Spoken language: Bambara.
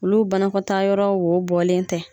Olu banakɔtaa yɔrɔ wo bɔlen tɛ.